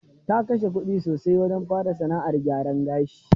Ta kashe kudi sosai wajen fara sana'ar gyaran gashi.